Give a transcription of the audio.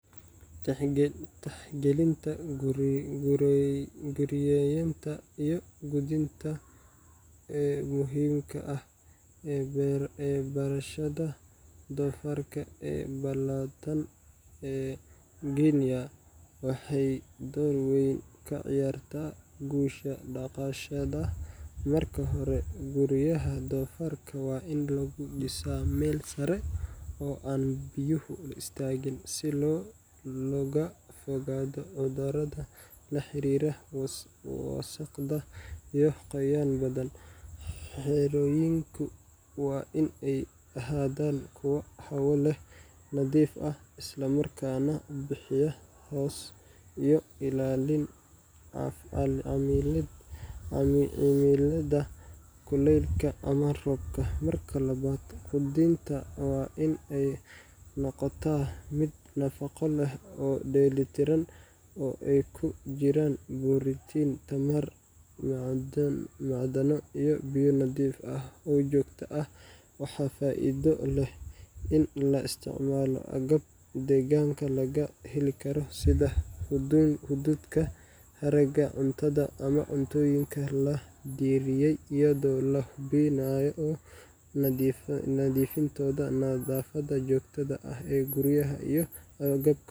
Tixgalinta guryeynta iyo quudinta ee muhiimka ah ee beerashada doofaarka ee Ballatan ee Guinea waxay door weyn ka ciyaartaa guusha dhaqashada. Marka hore, guryaha doofaarka waa in laga dhisaa meel sare oo aan biyuhu istaagin, si looga fogaado cudurrada la xiriira wasakhda iyo qoyaan badan. Xerooyinku waa in ay ahaadaan kuwo hawo leh, nadiif ah, isla markaana bixiya hoos iyo ilaalin cimilada kuleylka ama roobka. Marka labaad, quudinta waa in ay noqotaa mid nafaqo leh oo dheellitiran, oo ay ku jiraan borotiin, tamar, macdano iyo biyo nadiif ah oo joogto ah. Waxaa faa’iido leh in la isticmaalo agab deegaanka laga heli karo sida hadhuudhka, haraaga cuntada, ama cuntooyinka la diyaariyay, iyadoo la hubinayo nadiifintooda. Nadaafadda joogtada ah ee guryaha iyo agabka quudinta.